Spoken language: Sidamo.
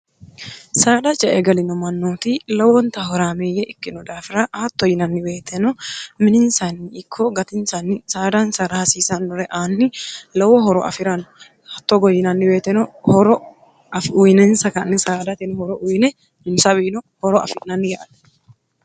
saada ce e galino mannooti lowonta horaamiyye ikkinno daafira hatto yinannibeeteno mininsanni ikko gatinsanni saadansara hasiisannore aanni lowo horo afi'ranno hatto goyinannibeeteno horo afiuyinensa kanni saadateno horo uyine insawiino horo afirnanni yaate